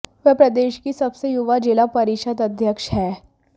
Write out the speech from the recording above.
वह प्रदेश की सबसे युवा जिला परिषद अध्यक्ष हैं